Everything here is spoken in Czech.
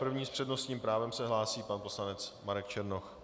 První s přednostním právem se hlásí pan poslanec Marek Černoch.